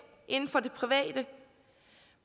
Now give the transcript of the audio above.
inden for det private